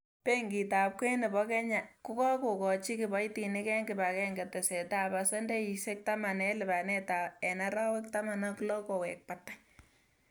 Benkitab kwen nebo kenya ko kakochi kiboitinik en kibagenge tesetab pasendeisiek taman en lipanet en arawek taman ak loo kowek batai.